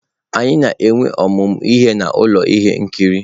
Anyị na-enwe ọmụmụ ihe na ụlọ ihe nkiri.